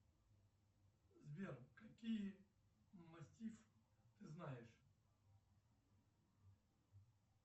сбер какие мастиф ты знаешь